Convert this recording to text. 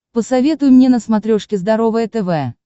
посоветуй мне на смотрешке здоровое тв